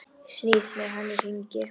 Snýst með hann í hringi.